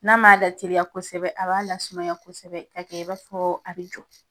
N'a ma lateliya kosɛbɛ a b'a lasumaya kosɛbɛ ka kɛ i b'a fɔ a bɛ jɔ.